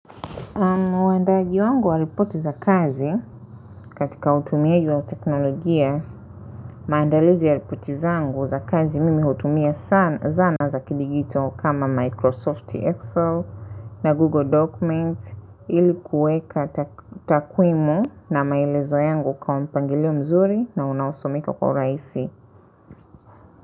Mwendaji wangu wa ripoti za kazi katika utumiaji wa teknolojia maandalizi ya ripoti zangu za kazi mimi hutumia zana za kidijitali kama Microsoft Excel na Google Documents ili kuweka takwimu na maelezo yangu kwa na mpangilio mzuri na unasomeka kwa urahisi.